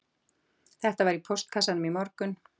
Þetta var í póstkassanum í morgun